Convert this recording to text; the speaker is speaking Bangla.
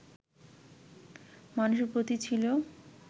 মানুষের প্রতি ছিল